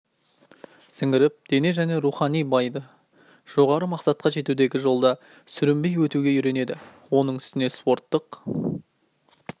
сіңіріп дене және рухани баиды жоғары мақсатқа жетудегі жолда сүрінбей өтуге үйренеді оның үстіне спорттық